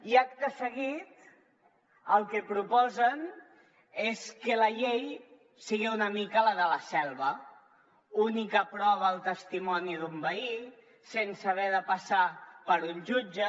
i acte seguit el que proposen és que la llei sigui una mica la de la selva única prova el testimoni d’un veí sense haver de passar per un jutge